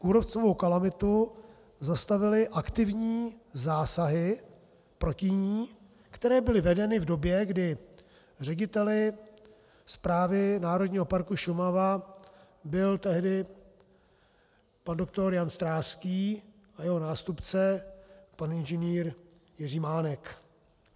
Kůrovcovou kalamitu zastavily aktivní zásahy proti ní, které byly vedeny v době, kdy řediteli správy Národního parku Šumava byl tehdy pan doktor Jan Stráský a jeho nástupce pan Ing. Jiří Mánek.